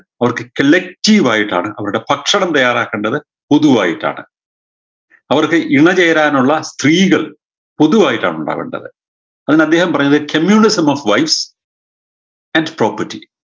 അവർക്ക് collective ആയിട്ടാണ് അവരുടെ ഭക്ഷണം തയ്യാറാക്കേണ്ടത് പൊതുവായിട്ടാണ് അവർക്ക് ഇണ ചേരാനുള്ള സ്ത്രീകൾ പൊതുവായിട്ടാ ഉണ്ടാവേണ്ടത് പണ്ടദ്ദേഹം പറഞ്ഞത് communism of wife and property